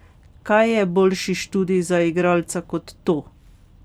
Kaj je boljši študij za igralca kot to?